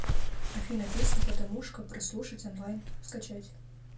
афина песня патамушка прослушать онлайн скачать